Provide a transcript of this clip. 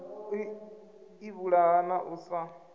u ivhulaha na u sa